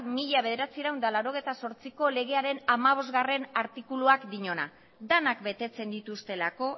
mila bederatziehun eta laurogeita zortziko legearen hamabostgarrena artikuluak diona denak betetzen dituztelako